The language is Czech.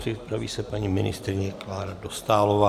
Připraví se paní ministryně Klára Dostálová.